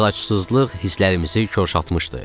Əlacsızlıq hisslərimizi kəşatmışdı.